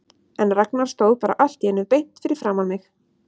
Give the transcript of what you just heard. En Ragnar stóð bara allt í einu beint fyrir framan mig.